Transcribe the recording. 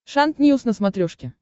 шант ньюс на смотрешке